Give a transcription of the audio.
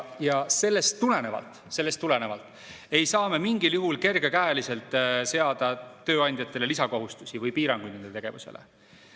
Ja sellest tulenevalt ei saa me mingil juhul kergekäeliselt seada tööandjatele lisakohustusi või piiranguid nende tegevusele.